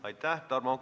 Aitäh!